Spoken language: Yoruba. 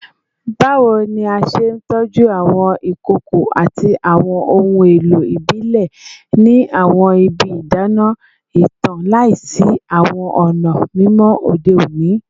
Bawo ni a ṣe tọju awọn ikoko ati awọn ohun elo ibile ni awọn ibi idana itan laisi awọn ọna mimọ ode oni?